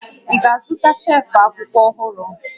Ị ga-azụta shelf akwụkwọ ọhụrụ?